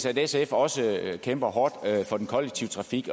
at sf også kæmper hårdt for den kollektive trafik